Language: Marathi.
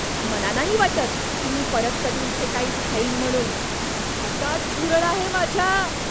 मला नाही वाटत की मी परत कधी इथे काही खाईन म्हणून, भातात झुरळ आहे माझ्या.